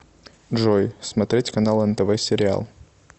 джой смотреть канал нтв сериал